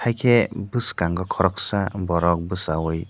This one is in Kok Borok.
kee bwskango koroksa borok bwsaioi.